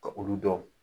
Ka olu dɔn